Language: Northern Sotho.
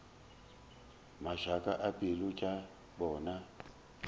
mašaka a pelo tša bona